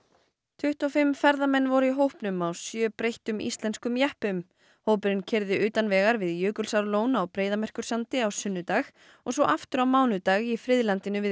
tuttugu og fimm ferðamenn voru í hópnum á sjö breyttum íslenskum jeppum hópurinn keyrði utan vegar við Jökulsárlón á Breiðamerkursandi á sunnudag og svo aftur á mánudag í friðlandinu við